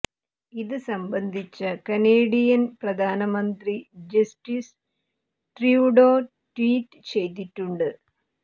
ഇത് സംബന്ധിച്ച കനേഡിയന് പ്രധാനമന്ത്രി ജസ്റ്റിന് ട്രൂഡോ ട്വീറ്റ് ചെയ്തിട്ടുണ്ട്